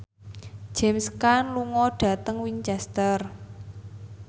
James Caan lunga dhateng Winchester